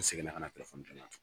U seginna ka na